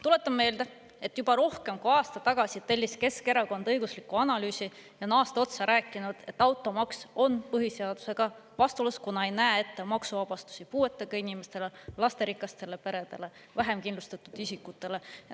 Tuletan meelde, et juba rohkem kui aasta tagasi tellis Keskerakond õigusliku analüüsi ja on aasta otsa rääkinud, et automaks on põhiseadusega vastuolus, kuna ei näe ette maksuvabastusi puuetega inimestele, lasterikastele peredele, vähem kindlustatud isikutele.